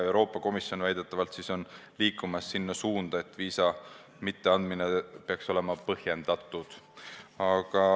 Euroopa Komisjon on väidetavalt liikumas selles suunas, et viisa mitteandmine peaks olema põhjendatud.